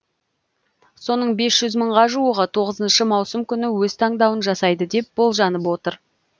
соның бес жүз мыңға жуығы тоғызыншы маусым күні өз таңдауын жасайды деп болжанып отыр